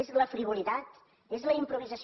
és la frivolitat és la improvisació